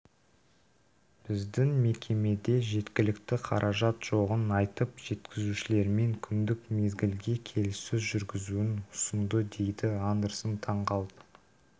біздің мекемеде жеткілікті қаражат жоғын айтып жеткізушілермен күндік мезгілге келіссөз жүргізуін ұсындыдейді андерсон таңғалып